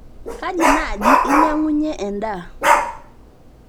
kaji naaji enyang'unye endaaa